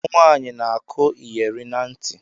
Umunwaanyi na- akụ iyeri na ntị.